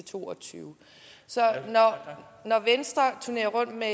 to og tyve når venstre turnerer rundt med